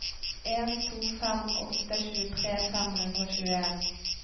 en to fem åtte tjuetre fem hundre og tjueen